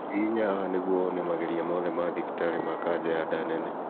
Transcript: Hihinya haha nĩguo wone mageria mothe ma thibitari ma kanja ya nda nene